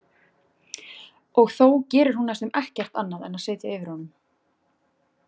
Og þó gerir hún næstum ekkert annað en að sitja yfir honum.